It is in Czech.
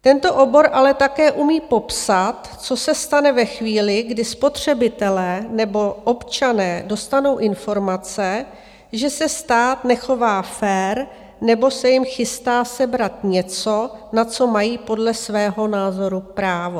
Tento obor ale také umí popsat, co se stane ve chvíli, kdy spotřebitelé nebo občané dostanou informace, že se stát nechová fér nebo se jim chystá sebrat něco, na co mají podle svého názoru právo.